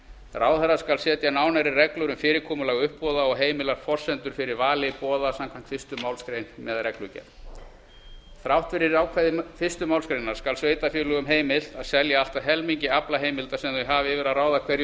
ráðherra skal setja nánari reglur um fyrirkomulag uppboða og heimilar forsendur fyrir vali boða samkvæmt fyrstu málsgrein með reglugerð þrátt fyrir ákvæði fyrstu málsgrein skal sveitarfélögum heimilt að selja allt að helmingi aflaheimilda sem þau hafa yfir að ráða hverju